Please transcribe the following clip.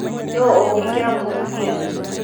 nũũ ũngĩkĩra mũtumia?